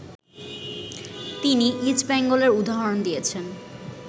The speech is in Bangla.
তিনি ইস্ট বেঙ্গলদের উদাহরণ দিয়েছেন